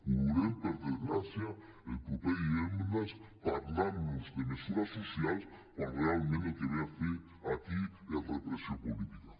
ho veurem per desgràcia el proper divendres parlant nos de mesures socials quan realment el que ve a fer aquí és repressió política